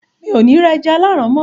mi ò ní ra “ ẹja aláàrán” mọ́